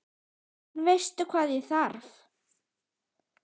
En veistu hvað ég þarf.